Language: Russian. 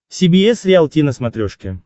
си би эс риалти на смотрешке